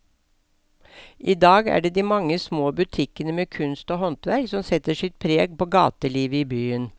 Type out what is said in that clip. I dag er det de mange små butikkene med kunst og håndverk som setter sitt preg på gatelivet i byen.